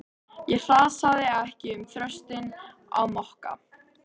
Ég hrasaði ekki um þröskuldinn á Mokka.